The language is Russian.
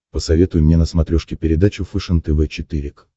посоветуй мне на смотрешке передачу фэшен тв четыре к